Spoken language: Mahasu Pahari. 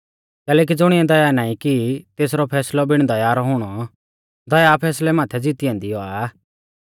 कैलैकि ज़ुणिऐ दया नाईं की तेसरौ फैसलौ बिण दया रौ हुणौ दया फैसलै माथै ज़ीती ऐन्दी औआ